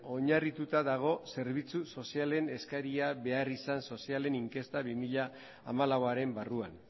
oinarrituta dago zerbitzu sozialen eskaria beharrizan sozialen inkesta bi mila hamalauaren barruan